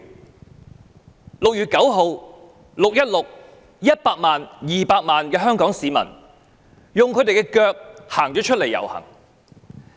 在6月9日和6月16日 ，100 萬、200萬名香港市民用雙腳出來遊行。